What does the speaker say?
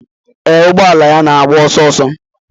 Ee, ụgbọ ala ya na-agba ọsọ ọsọ.